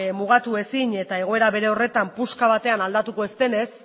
mugatu ezin eta egoera bere horretan puska batean aldatuko ez denez